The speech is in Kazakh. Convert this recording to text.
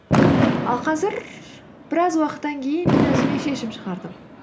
ал қазір біраз уақыттан кейін мен өзіме шешім шығардым